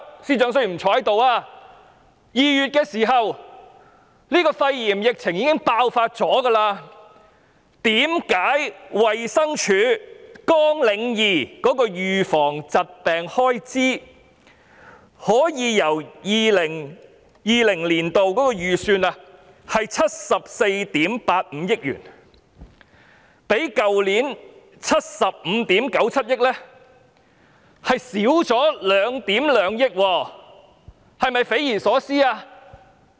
然而，肺炎疫情在2月已經爆發，為何衞生署綱領2的預防疾病開支，即 2020-2021 年度預算的74億 8,500 萬元，可以較去年度的75億 9,700 萬元還少了1億 1,200 萬元，這是否匪夷所思？